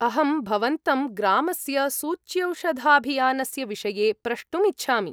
अहं भवन्तं ग्रामस्य सूच्यौषधाभियानस्य विषये प्रष्टुम् इच्छामि।